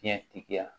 Diɲɛtigiya